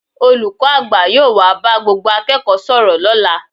Olùkọ́ àgbà yóò wá bá gbogbo akẹ́kọ̀ọ́ sọ̀rọ̀ lọ́la